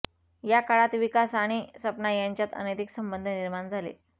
या काळात विकास आणि सपना यांच्यात अनैतिक संबंध निर्माण झाले